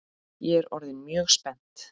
Ég er orðin mjög spennt!